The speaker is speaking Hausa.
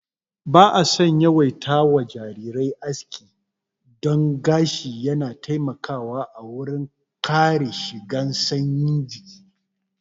Ba'a son yawaita wa jarirai aski don gashi yana taimakawa a wurin kare shigan sanyi jiki